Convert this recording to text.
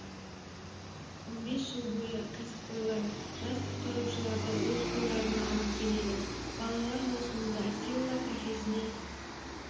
он бес жыл бойы кәсіпқойлар жас құтқарушыларды өз қолдарына алып келеді балалар маусымда силла кафесіне